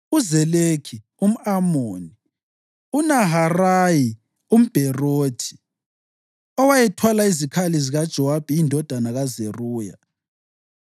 uZelekhi umʼAmoni, uNaharayi umBherothi, owayethwala izikhali zikaJowabi, indodana kaZeruya,